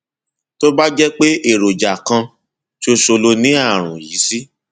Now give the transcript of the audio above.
tó bá jẹ pé èròjà kan ṣoṣo lo ní ààrùn yìí sí